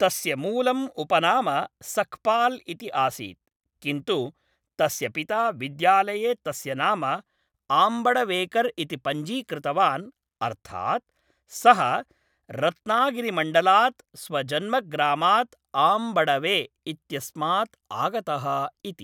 तस्य मूलम् उपनाम सक्पाल् इति आसीत्, किन्तु तस्य पिता विद्यालये तस्य नाम आम्बडवेकर् इति पञ्जीकृतवान् अर्थात् सः रत्नागिरीमण्डलात् स्वजन्मग्रामात् 'आम्बडवे' इत्यस्मात् आगतः इति।